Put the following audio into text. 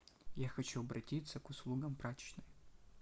я хочу обратиться к услугам прачечной